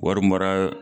Wari mara